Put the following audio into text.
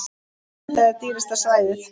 Þetta er dýrasta svæðið.